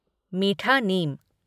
मीठा नीम